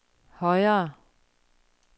højere